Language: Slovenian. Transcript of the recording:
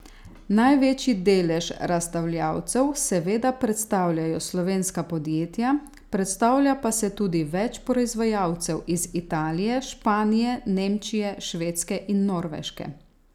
Največji delež razstavljavcev seveda predstavljajo slovenska podjetja, predstavlja pa se tudi več proizvajalcev iz Italije, Španije, Nemčije, Švedske in Norveške.